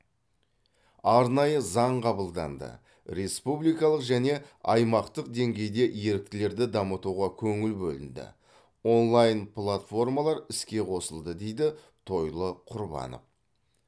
арнайы заң қабылданды республикалық және аймақтық деңгейде еріктілерді дамытуға көңіл бөлінді онлайн платформалар іске қосылды дейді тойлы құрбанов